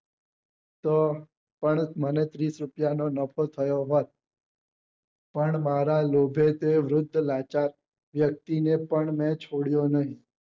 તો પણ મને ત્રીસ રૂપિયા નો નફો થયો હોઈ પણ મારા લોભે તે વૃદ્ધ લાચાર વ્યક્તિ ને પણ મેં છોડ્યો નહિ